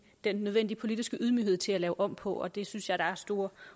den nødvendige politiske ydmyghed til at lave om på og det synes jeg der er store